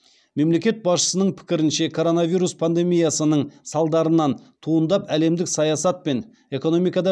мемлекет басшысының пікірінше коронавирус пандемиясының салдарынан туындап әлемдік саясат пен экономикада